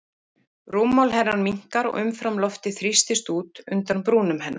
Rúmmál hennar minnkar og umfram loftið þrýstist út undan brúnum hennar.